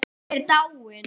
Hún er dáin.